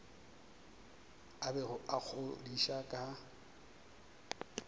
a bego a ikgodiša ka